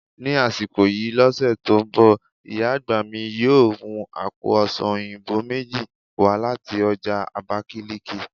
Ni asiko yii lose to n bo, iya agba mi yoo mu àpò ọsàn oyinbo meji wa lati oja Abakiliki